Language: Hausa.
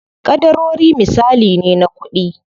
Ƙadarori misali ne na kuɗi.